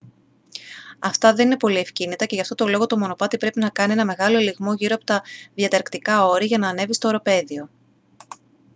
αυτά δεν είναι πολύ ευκίνητα και γι' αυτόν τον λόγο το μονοπάτι πρέπει να κάνει έναν μεγάλο ελιγμό γύρω από τα διανταρκτικά όρη για να ανέβει στο οροπέδιο